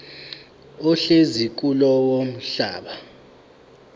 ohlezi kulowo mhlaba